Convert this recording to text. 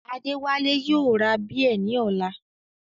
Adéwálé yóò ra bíẹ̀ ní ọ̀la